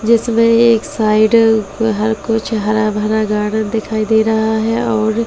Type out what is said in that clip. जिसमें एक साइड हर कुछ हरा भरा गार्डन दिखाई दे रहा है और कुछ --